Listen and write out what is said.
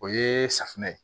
O ye safunɛ ye